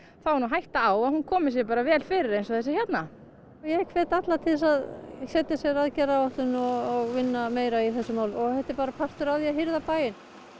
er hætta á að hún komi sér bara vel fyrir eins og þessi hérna hefur ég hvet alla til þess að setja sér aðgerðaráætlun og vinna meira í þessum málum því þetta er bara partur af því að hirða bæinn